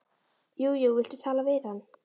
Jú jú, viltu tala við hann?